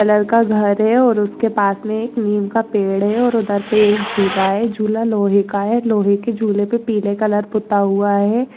Colour का घर है और उसके पास मे एक नीम का पेड़ है और उधर पे एक झूला है झूला लोहे का है लोहे की झूले पे पीले कलर पूता हुआ है।